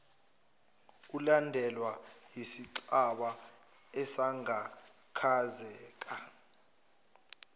ulandelwa yisicabha esagaklazeka